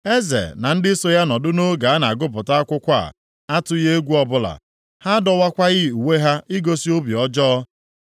Eze na ndị so ya nọdụ nʼoge a na-agụpụta akwụkwọ a atụghị egwu ọbụla; ha adọwakwaghị uwe ha igosi obi ọjọọ.